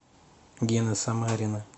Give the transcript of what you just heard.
гены самарина